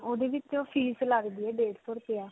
ਓਦੇ ਵਿੱਚ fees ਲਗਦੀ ਹੈ ਡੇਢ ਸੌ ਰੁਪਿਆ.